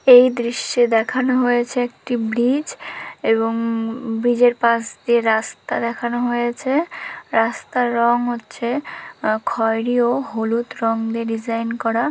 এই দৃশ্যে দেখানো হয়েছে একটি ব্রিজ এবং ব্রিজের পাশ দিয়ে রাস্তা দেখানো হয়েছে রাস্তার রং হচ্ছে খয়রি ও হলুদ রঙে ডিজাইন করা ।